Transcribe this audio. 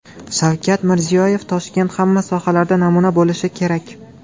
Shavkat Mirziyoyev: Toshkent hamma sohalarda namuna bo‘lishi kerak.